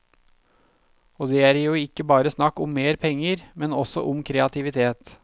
Og det er jo ikke bare snakk om mer penger, men også om kreativitet.